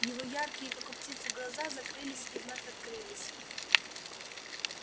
его яркие как у птицы глаза закрылись и вновь открылись